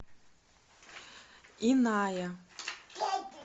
иная